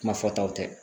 Kuma fɔtaw tɛ